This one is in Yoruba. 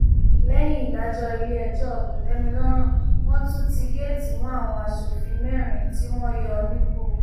lẹyìn ìdájọ iléẹjọ kòtẹmílọrùn wọn tún ti géètì mọ àwọn aṣòfin mẹrin tí wọn yọ nípò